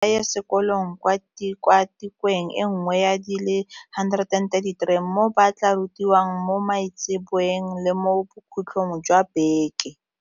Barutwana ba na le tlhopho ya gore ba ithute ka bobona kgotsa ba ye sekolong kwa tikwatikweng e nngwe ya di le 133 mo ba tla rutiwang mo maitseboeng le mo bokhutlhong jwa beke.